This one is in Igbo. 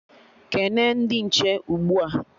Kene ndị nche ugbua!